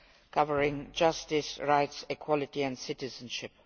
covering justice, rights, equality and citizenship.